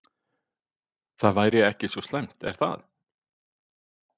Það væri ekki svo slæmt er það?